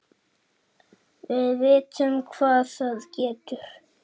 Við vitum hvað það getur!